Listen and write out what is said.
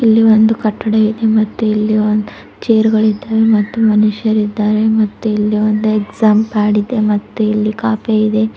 ಇಲ್ಲಿ ಒಂದು ಕಟ್ಟಡ ಇದೆ ಮತ್ತೆ ಇಲ್ಲಿ ಅ ಚೇರ್ ಗಳಿದ್ದಾವೆ ಮತ್ತು ಮನುಷ್ಯರಿದ್ದಾರೆ ಮತ್ತು ಇಲ್ಲಿ ಒಂದ ಎಕ್ಸಾಮ್ ಪ್ಯಾಡ್ ಇದೆ ಮತ್ತ ಕಾಪೆ ಇದೆ.